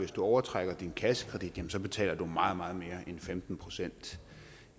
overtrækker din kassekredit betaler du meget meget mere end femten procent